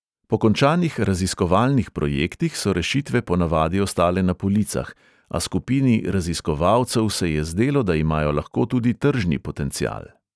Po končanih raziskovalnih projektih so rešitve ponavadi ostale na policah, a skupini raziskovalcev se je zdelo, da imajo lahko tudi tržni potencial.